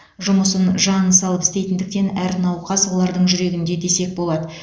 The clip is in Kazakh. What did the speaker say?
жұмысын жанын салып істейтіндіктен әр науқас олардың жүрегінде десек болады